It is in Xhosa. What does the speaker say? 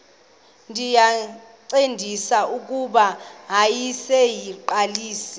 ndayincedisa kuba yayiseyiqalisile